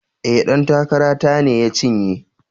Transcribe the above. E, ɗan takara ta ne ya cinye.